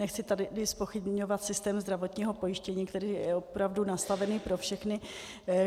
Nechci tady zpochybňovat systém zdravotního pojištění, který je opravdu nastavený pro všechny.